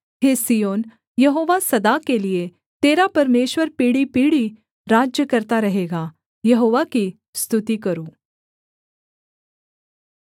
हे Zion यहोवा सदा के लिये तेरा परमेश्वर पीढ़ीपीढ़ी राज्य करता रहेगा यहोवा की स्तुति करो